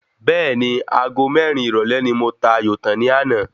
Bẹ́ẹ̀ni Ago mérin ìrọ̀lé ni mo ta ayò tán ní àná